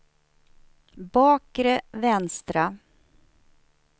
bakre vänstra